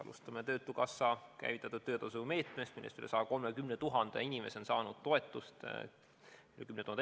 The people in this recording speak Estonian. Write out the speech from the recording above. Alustame töötukassa käivitatud töötasumeetmest, millest üle 130 000 inimese on saanud toetust.